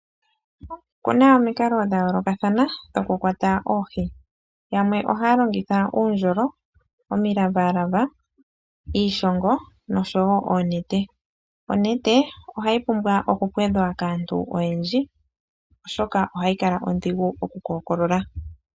Oku na omikalo dha yoolokathana dhokukwata oohi yamwe ohaya longitha uundjolo, omilavalava, iishongo noshowo oonete. Onete ohayi pumbwa okupwedhwa kaantu oyedji oshoka ohayi kala ondhigu okukookolola.